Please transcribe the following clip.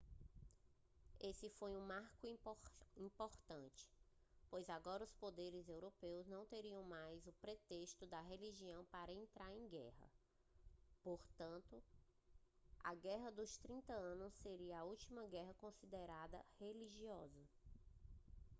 esse foi um marco importante pois agora os poderes europeus não teriam mais o pretexto da religião para entrar em guerra portanto a guerra dos trinta anos seria a última guerra considerada religiosa